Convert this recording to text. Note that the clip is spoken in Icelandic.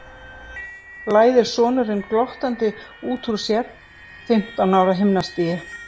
læðir sonurinn glottandi út úr sér, fimmtán ára himnastigi.